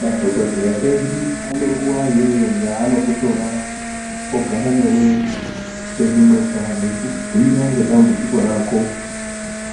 Madhokodheya edu ane nguwa iyoyo yanokutora ogara newe penyu mega veikubhuira nedambudziko rako